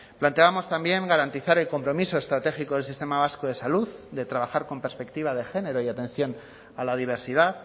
planteábamos también garantizar el compromiso estratégico del sistema vasco de salud de trabajar con perspectiva de género y atención a la diversidad